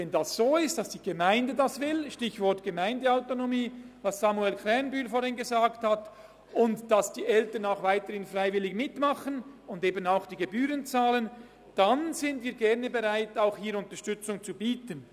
Wenn die Gemeinde das will – auf das Stichwort Gemeindeautonomie hat vorhin Samuel Krähenbühl hingewiesen –, wenn die Eltern weiterhin freiwillig mitmachen und eben auch die Gebühren bezahlen, dann sind wir gerne bereit, Unterstützung zu bieten.